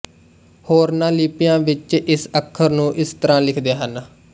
ਹੋਰਨਾਂ ਲਿਪੀਆਂ ਵਿੱਚ ਇਸ ਅੱਖਰ ਨੂੰ ਇਸ ਤਰ੍ਹਾਂ ਲਿਖਦੇ ਹਨ